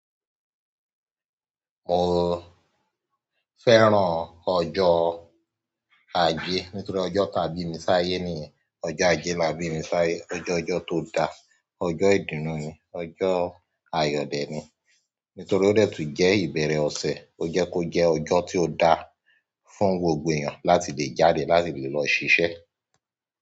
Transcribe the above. Mo fẹ́ràn ọjọ́ ajé. Nítorí ọjọ́ tà bími sáyé níyẹn. Ọjọ́ ajé là bími sáyé. Ọjọ́ ọjọ́ tó da. Ọjọ́ ìdùnnú ni. Ọjọ́ ayò dè ni. Nítorí ó dẹ́ tu jẹ́ ìbẹ̀rẹ̀ ọ̀sẹ̀. Ó jẹ́ kó jẹ́ ọjọ́ tí ó da fún gbogbo èèyàn láti lè jáde, láti lè lọ ṣiṣẹ́.